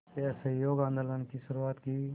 के असहयोग आंदोलन की शुरुआत की